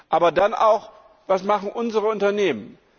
Aber dann auch Was machen unsere Unternehmen?